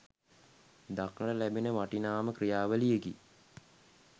දක්නට ලැබෙන වටිනාම ක්‍රියාවලියකි